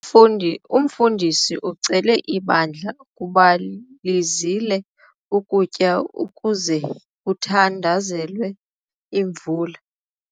Umfundi umfundisi ucele ibandla ukuba lizile ukutya ukuze kuthandazelwe imvula.